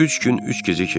Üç gün üç gecə keçdi.